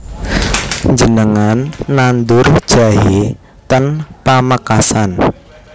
Njenengan nandur jahe ten Pamekasan